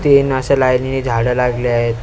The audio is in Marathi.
तीन असं लाईनीनी झाडं लागली आहेत पाटी--